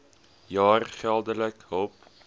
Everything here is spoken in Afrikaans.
jaar geldelike hulp